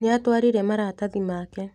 Nĩatwarire maratathi make.